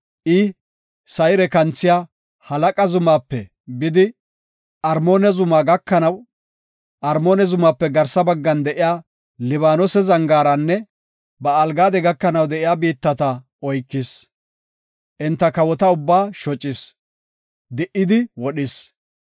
I Sayre kanthisiya Halaqa zumaape bidi, Armoona zumaape garsa baggan de7iya Libaanose zangaaranne Ba7aal-Gaade gakanaw de7iya biittata oykis. Enta kawota ubbaa shocis; di77idi wodhis.